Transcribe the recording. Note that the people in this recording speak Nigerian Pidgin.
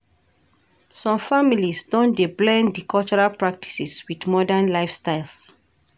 Some families don dey blend di cultural practices wit modern lifestyles.